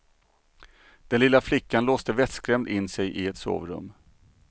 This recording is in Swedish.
Den lilla flickan låste vettskrämd in sig i ett sovrum.